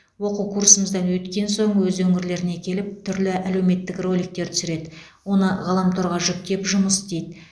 оқу курсымыздан өткен соң өз өңірлеріне келіп түрлі әлеуметтік роликтер түсіреді оны ғаламторға жүктеп жұмыс істейді